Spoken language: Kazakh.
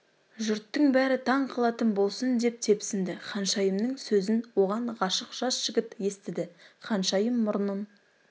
жұрттың бәрі таң қалатын болсын деп тепсінді ханшайымның сөзін оған ғашық жас жігіт естіді ханшайым мұрнын